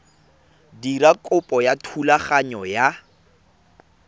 dira kopo ya thulaganyo ya